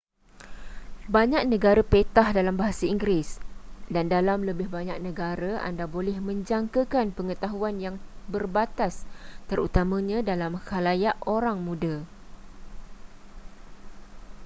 banyak negara petah dalam bahasa inggeris dan dalam lebih banyak negara anda boleh menjangkakan pengetahuan yang berbatas terutamanya dalam khalayak orang muda